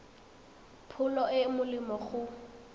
pholo e e molemo go